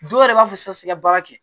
Dɔw yɛrɛ b'a fɔ sisan siga baara kɛ